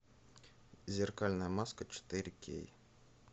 зеркальная маска четыре кей